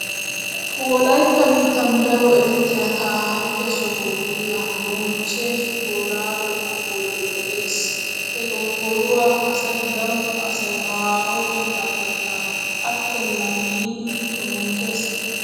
Wollaytta biittan daro erettiya taarike soho gidiya moochche boorraago gonggoloy de'ees. He gonggoluwa asay daro asay haaho biittaappekka attennan yiidi xomooses.